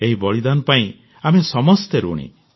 ଏହି ବଳିଦାନ ପାଇଁ ଆମେ ସମସ୍ତେ ଋଣୀ